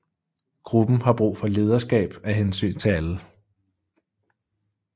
Gruppen har brug for lederskab af hensyn til alle